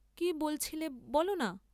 কি বলছিলে বল না?